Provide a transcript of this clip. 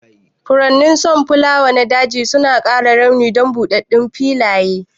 Furen sonfulawa na daji suna ƙara launi don buɗɗaɗɗun filaye.